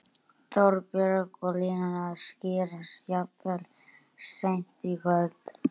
Þorbjörn: Og línurnar skýrast jafnvel seint í kvöld?